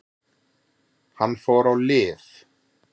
Hann fór á lyf.